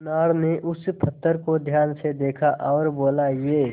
सुनार ने उस पत्थर को ध्यान से देखा और बोला ये